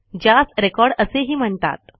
ज्यास रेकॉर्ड असेही म्हणतात